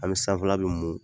An bɛ sanfɛla bɛɛ mun.